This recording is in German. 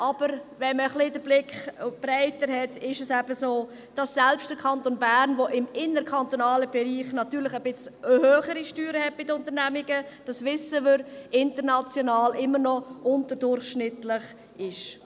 Aber wenn man einen breiteren Blick hat, ist es so, dass selbst der Kanton Bern, welcher im interkantonalen Bereich bei den Unternehmungen etwas höhere Steuern hat, wie wir wissen, international immer noch unterdurchschnittlich ist.